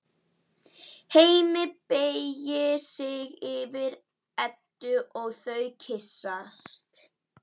Hemmi beygir sig yfir Eddu og þau kyssast.